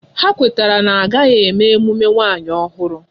Ha kwetara na ha agaghị eme emume nwanyi ọhụrụ